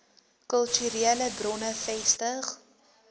kulturele bronne vestig